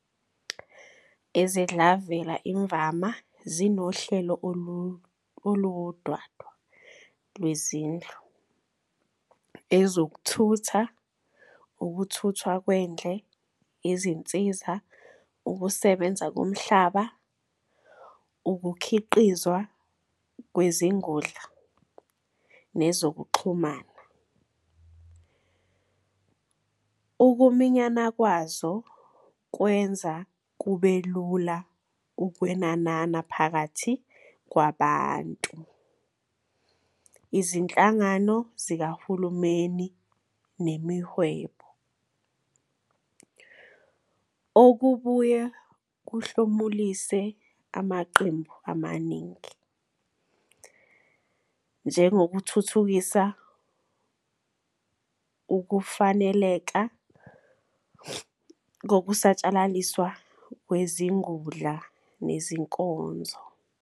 Izidlavela imvama zinohlelo oluwudwadwa lwezindlu, ezokuthutha, ukuthuthwa kwendle, izinsiza, ukusebenza komhlaba, ukukhiqizwa kwezingudla, nezokuxhumana. Ukuminyana kwazo kwenza kube lula ukwenanana phakathi kwabantu, izinhlangano zikahulumeni nemihwebo, okubuye kuhlomulise amaqembu amaningi, njengokuthuthukisa ukufaneleka kokusatshalaliswa kwezingudla nezinkonzo.